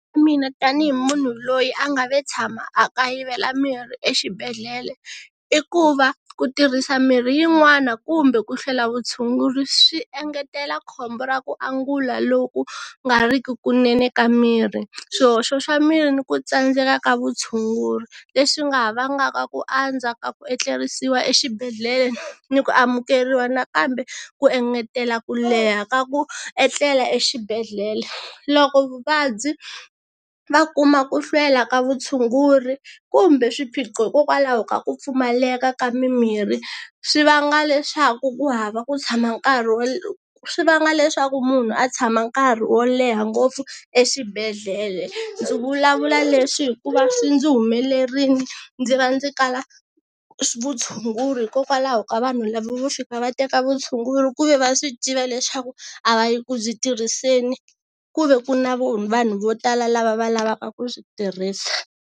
Mina tanihi munhu loyi a nga ve tshama a kayivela mirhi exibedhlele i ku va ku tirhisa mirhi yin'wana kumbe ku hlwela vutshunguri swi engetela khombo ra ku angula loku nga ri ki kunene ka miri, swihoxo xa miri ni ku tsandzeka ka vutshunguri leswi nga ha vangaka ku andza ka ku etlerisiwa exibedhlele ni ku amukeriwa nakambe ku engetela ku leha ka ku etlela exibedhlele. Loko vuvabyi va kuma ku hlwela ka vutshunguri kumbe swiphiqo hikokwalaho ka ku pfumaleka ka mimirhi swi vanga leswaku ku hava ku tshama nkarhi wo swi vanga leswaku munhu a tshama nkarhi wo leha ngopfu exibedhlele, ndzi vulavula leswi hikuva swi ndzi humelerile ndzi va ndzi kala vutshunguri hikokwalaho ka vanhu lava vo fika va teka vutshunguri ku ve va swi tiva leswaku a va yi ku byi tirhiseni ku ve ku na vanhu vo tala lava va lavaka ku byi tirhisa.